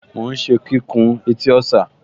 Mò ún ṣe kíkùn etí ọ̀sà